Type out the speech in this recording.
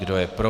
Kdo je pro?